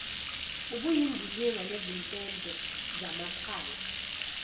obuyindilinga nezimpempe zamakhala